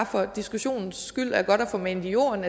for diskussionen skyld er godt at få manet i jorden